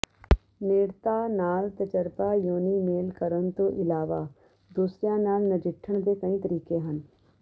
ਨੇੜਤਾ ਨਾਲ ਤਜਰਬਾ ਯੋਨੀ ਮੇਲ ਕਰਨ ਤੋਂ ਇਲਾਵਾ ਦੂਸਰਿਆਂ ਨਾਲ ਨਜਿੱਠਣ ਦੇ ਕਈ ਤਰੀਕੇ ਹਨ